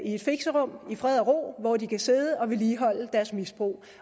et fixerum i fred og ro hvor de kan sidde og vedligeholde deres misbrug